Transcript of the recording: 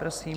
Prosím.